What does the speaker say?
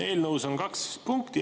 Eelnõus on kaks punkti.